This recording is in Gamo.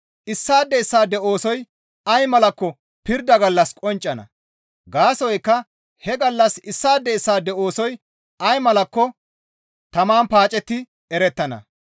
issaade issaade oosoy ay malakko pirda gallas qonccana; gaasoykka he gallas issaade issaade oosoy ay malakko taman paacetti erettana.